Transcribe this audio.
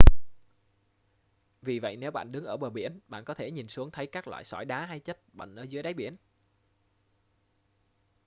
vì vậy nếu bạn đứng ở bờ biển bạn có thể nhìn xuống thấy các loại sỏi đá hay chất bẩn dưới đáy biển